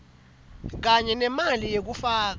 kanye nemali yekufaka